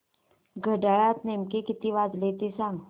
घड्याळात नेमके किती वाजले ते सांग